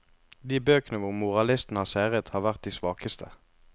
De bøkene hvor moralisten har seiret, har vært de svakeste.